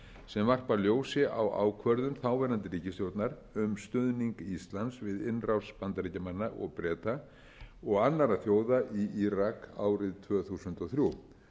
sem varpa ljósi á ákvörðun þáverandi ríkisstjórnar um stuðning íslands við innrás bandaríkjamanna og breta og annarra þjóða í írak árið tvö þúsund og þrjú